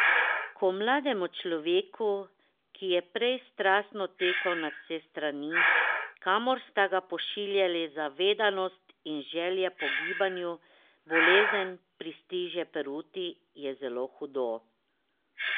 Ko mlademu človeku, ki je prej strastno tekal na vse strani, kamor sta ga pošiljali zvedavost in želja po gibanju, bolezen pristriže peruti, je zelo hudo.